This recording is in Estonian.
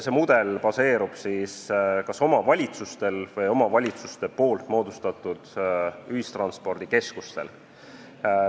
See mudel baseerub siis kas omavalitsustel või omavalitsuste moodustatud ühistranspordikeskustel.